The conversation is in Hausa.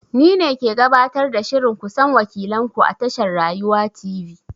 Ni ne ke gabatar da shirin ku san wakilan ku a tashar Rayuwa Tv.